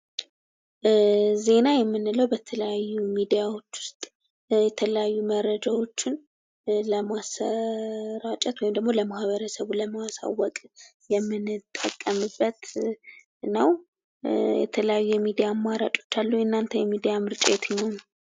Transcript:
ዜና የምንለው በተለያዩ ሚዲያዎች ውስጥ የተለያዩ መረጃዎችን ለማሰራጨት ወይም ለማ ህበረሰቡ ለማህበረሰቡ ለማሳወቅ የምንጠቀምበት ነው። የተለያዩ የሚዲያ አማራጮች አሉ የናተ የሚዲያ ምርጫ የትኛው ነው?